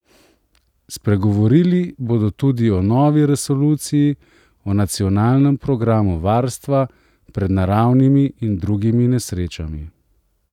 Spregovorili bodo tudi o novi resoluciji o nacionalnem programu varstva pred naravnimi in drugimi nesrečami.